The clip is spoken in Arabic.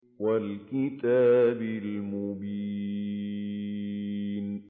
وَالْكِتَابِ الْمُبِينِ